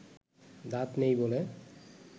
দাঁত নেই বলে